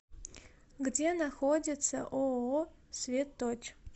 где находится ооо светоч